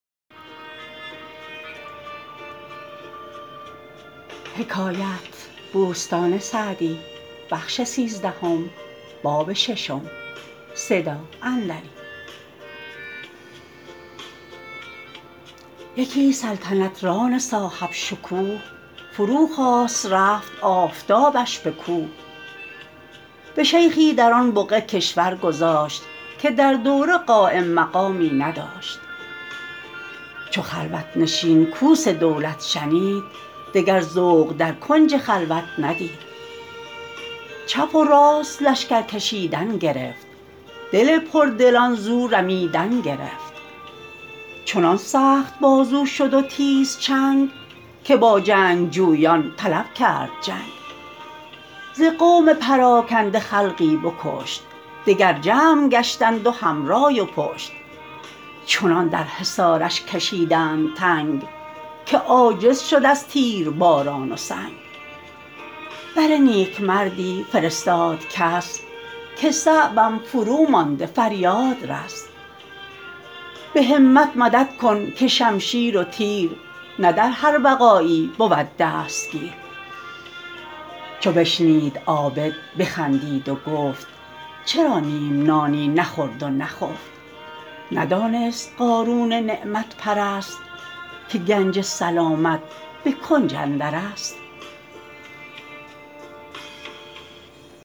یکی سلطنت ران صاحب شکوه فرو خواست رفت آفتابش به کوه به شیخی در آن بقعه کشور گذاشت که در دوره قایم مقامی نداشت چو خلوت نشین کوس دولت شنید دگر ذوق در کنج خلوت ندید چپ و راست لشکر کشیدن گرفت دل پردلان زو رمیدن گرفت چنان سخت بازو شد و تیز چنگ که با جنگجویان طلب کرد جنگ ز قوم پراکنده خلقی بکشت دگر جمع گشتند و هم رای و پشت چنان در حصارش کشیدند تنگ که عاجز شد از تیرباران و سنگ بر نیکمردی فرستاد کس که صعبم فرومانده فریاد رس به همت مدد کن که شمشیر و تیر نه در هر وغایی بود دستگیر چو بشنید عابد بخندید و گفت چرا نیم نانی نخورد و نخفت ندانست قارون نعمت پرست که گنج سلامت به کنج اندر است